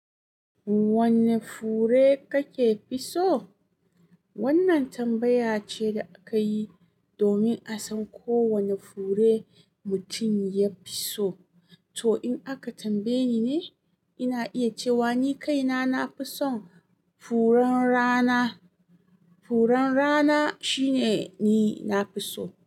Wanne fure kake fi so? Wannan tambaya ce da akayi domin a san ko wane fure mutum ya fi so. To in aka tambaye ni ne, ina iya cewa ni kaina nafi son furen rana. Furen rana shine ni nafi so.